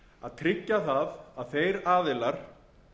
að tryggja að þeir aðilar